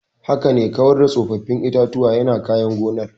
Haka ne, kawar da tsofaffin itatuwa yana kyan gonar.